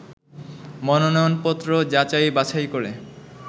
মনোনয়নপত্র যাচাই-বাছাই করে